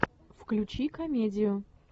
включи комедию